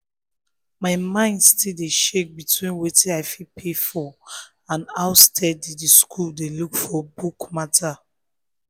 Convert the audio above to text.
my mind still dey shake between wetin i fit pay for and how steady the school dey for book matter